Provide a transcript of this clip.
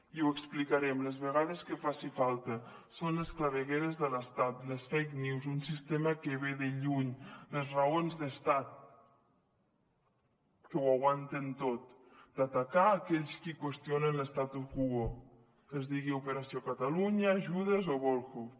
i ho explicarem les vegades que faci falta són les clavegueres de l’estat les fake news un sistema que ve de lluny les raons d’estat que ho aguanten tot d’atacar aquells qui qüestionen l’talunya judes o volhov